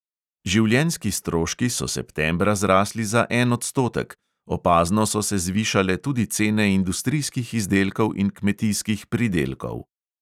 Življenjski stroški so septembra zrasli za en odstotek, opazno so se zvišale tudi cene industrijskih izdelkov in kmetijskih pridelkov.